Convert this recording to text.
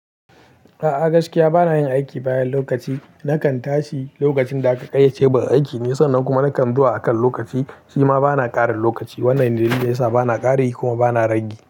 A'a gaskiya bana yin aiki bayan lokaci. Nakan tashi lokacin da aka ƙayyace ba da aiki ne, sannan kuma nakan zuwa akan lokaci. Shi ma bana ƙarin lokaci. Wannan ne dalili yasa bana ƙari kuma bana rangi.